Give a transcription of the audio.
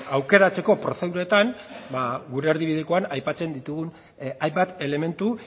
aukeratzeko prozeduretan ba gure erdibidekoan aipatzen ditugun hainbat elementu